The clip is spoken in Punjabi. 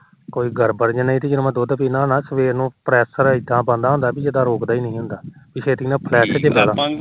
ਕੋਈ ਗੜਬੜ ਨੀ ਦੁਧ ਪੀਦਾ ਨਾ ਸਵੇਰ ਨੂੰ pressure ਇਦਾ ਬਣਦਾ ਹੁੰਦਾ ਜਿਦਾ ਰੁਕਦਾ ਈ ਨੀ ਹੁੰਦਾ ਛੇਤੀ ਛੇਤੀ flash ਨੂੰ ਭੱਜਦਾ